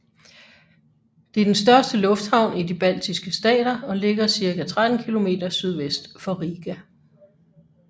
Den er den største lufthavn i de baltiske stater og ligger cirka 13 km sydvest for Riga